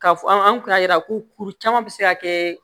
Ka fɔ an kun y'a yira ko kuru caman bɛ se ka kɛ